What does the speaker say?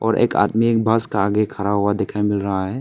और एक आदमी एक बस का आगे खड़ा हुआ देखने को मिल रहा है।